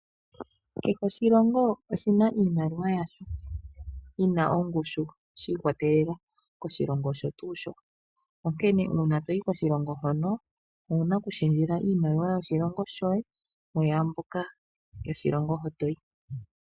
Kehe oshilongo oshina iimaliwa yasho yina ongushu shiikwatelela koshilongo osho tuu sho. Onkene uuna toyi koshilongo hono owuna oku shendjele iimaliwa yoshilongo shoye muyamboka yoshilongo ho toyi.